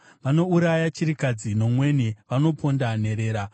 Vanouraya chirikadzi nomweni; vanoponda nherera.